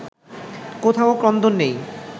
কোথাও ক্রন্দন নেই